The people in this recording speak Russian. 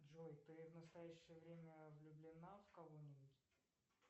джой ты в настоящее время влюблена в кого нибудь